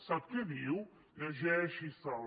sap què diu llegeixise’l